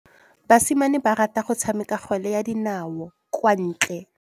Basimane ba rata go tshameka kgwele ya dinaô kwa ntle.